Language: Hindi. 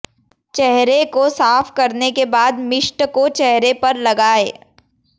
चेहरे को साफ करने के बाद मिस्ट को चेहरे पर लगाएं